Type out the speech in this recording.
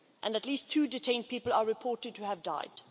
At least two detained people are reported to have died.